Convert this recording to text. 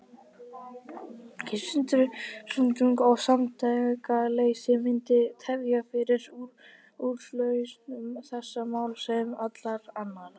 Sundrung og samtakaleysi myndi tefja fyrir úrlausn þessa máls, sem allra annara.